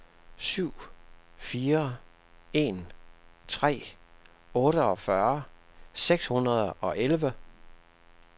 syv fire en tre otteogfyrre seks hundrede og elleve